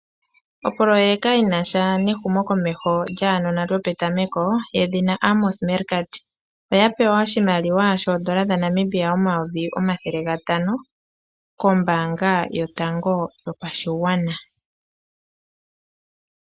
Opololeka yinasha nehumokomeho lyaanona lyopetameko, lyedhina Amos Mergard oyapewa oshimaliwa shoondola dhaNamibia omayovi, omathele gatano, kombaanga yotango yopashigwana.